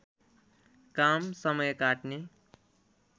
काम समय काट्ने